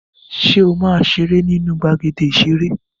Ṣé ó ma seré nínú gbàgéde ìserè?